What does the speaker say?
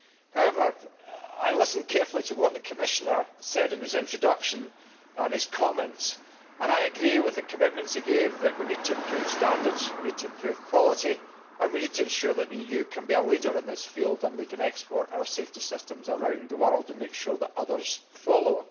However, I listened carefully to what the Commissioner said in his introduction and his comments and I agree with the commitments he gave that we need to improve standards, we need to improve quality, and we need to ensure that the EU can be a leader in this field and that we can export our safety systems around the world and make sure that others follow.